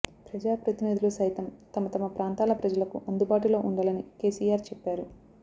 ప్రజా ప్రతినిధులు సైతం తమతమ ప్రాంతాల ప్రజలకు అందుబాటులో ఉండాలని కెసిఆర్ చెప్పారు